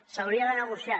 s’hauria de negociar